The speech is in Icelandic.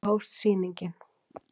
Svo hófst sýningin.